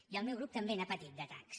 i el meu grup també n’ha patit d’atacs